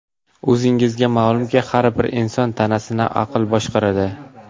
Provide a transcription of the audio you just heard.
O‘zingizga ma’lumki, har bir inson tanasini aql boshqaradi.